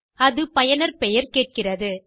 அது பயனர் பெயர் கேட்கிறது